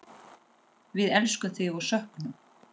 Við elskum þig og söknum.